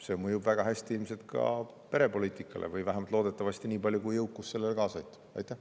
See mõjub väga hästi ilmselt ka perepoliitikale või loodetavasti vähemasti nii palju, kui jõukusega sellele kaasa saab aidata.